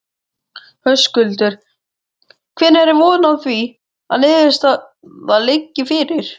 Höskuldur: Hvenær er von á því að niðurstaða liggi fyrir?